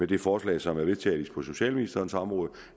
det forslag som er vedtaget på socialministerens område